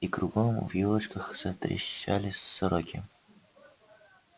и кругом в ёлочках затрещали сороки